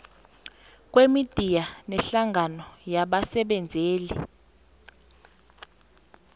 kwemidiya nehlangano yabasebenzeli